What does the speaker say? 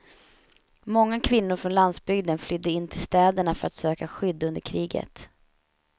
Många kvinnor från landsbygden flydde in till städerna för att söka skydd under kriget.